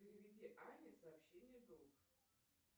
переведи ане сообщение долг